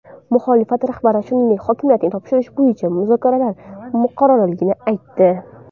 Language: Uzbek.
Muxolifat rahbari, shuningdek, hokimiyatni topshirish bo‘yicha muzokaralar muqarrarligini aytdi.